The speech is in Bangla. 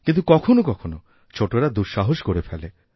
কিন্তু কখনও কখনওছোটরা দুঃসাহস করে ফেলে